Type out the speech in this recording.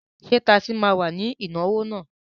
Ṣé tasí ma wà ní ìnáwó náà?